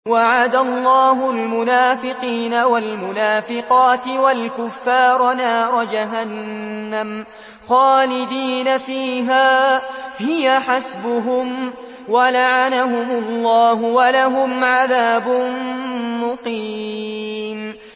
وَعَدَ اللَّهُ الْمُنَافِقِينَ وَالْمُنَافِقَاتِ وَالْكُفَّارَ نَارَ جَهَنَّمَ خَالِدِينَ فِيهَا ۚ هِيَ حَسْبُهُمْ ۚ وَلَعَنَهُمُ اللَّهُ ۖ وَلَهُمْ عَذَابٌ مُّقِيمٌ